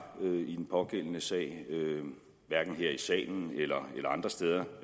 i den pågældende sag hverken her i salen eller andre steder